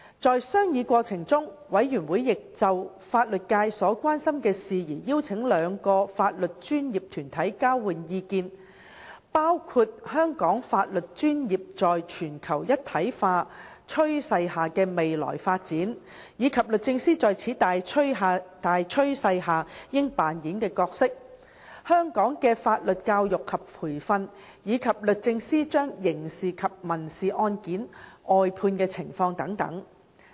在商議過程中，事務委員會亦有就法律界所關心的事宜邀請兩個法律專業團體交換意見，包括香港法律專業在全球一體化趨勢下的未來發展，以及律政司在此大趨勢下應扮演的角色；香港的法律教育及培訓；及律政司將刑事及民事案件外判的情況等。